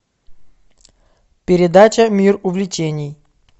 передача мир увлечений